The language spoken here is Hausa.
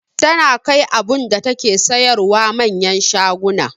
Tana kai abunda take siyarwa manyan shaguna